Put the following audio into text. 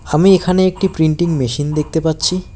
আমি এখানে একটি প্রিন্টিং মেশিন দেখতে পাচ্ছি।